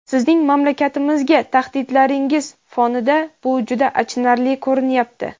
sizning mamlakatimizga tahdidlaringiz fonida bu juda achinarli ko‘rinyapti..